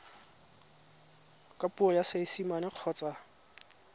ka puo ya seesimane kgotsa